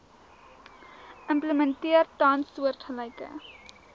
implementeer tans soortgelyke